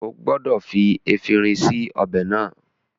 O gbọdọ̀ fi efinrin sí ọbẹ̀ náà